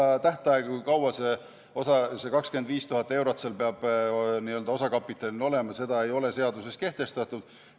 Ei, seda tähtaega, kui kaua see 25 000 eurot peab osakapitalina olema, ei ole seaduses kehtestatud.